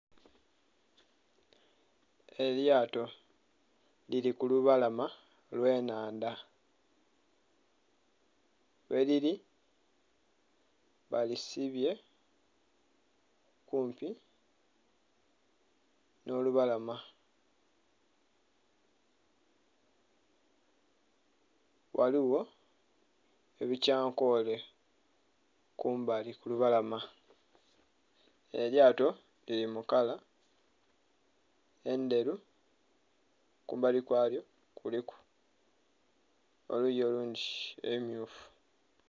Elyato lili mu lubalama lwe nhandha gherili balisibye kumpi nho lubalama ghaligho ebikyankole kumbali ku lubalama elyato lili mu kala endheru kumbali kwalyo kuliku oluyi olundhi ebimyufu.